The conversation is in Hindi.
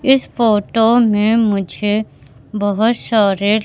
इस फोटो में मुझे बहोत सारे--